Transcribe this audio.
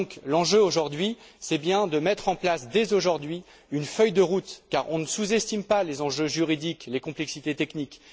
L'enjeu est bien de mettre en place dès aujourd'hui une feuille de route, car on ne sous estime pas les enjeux juridiques, les complexités techniques.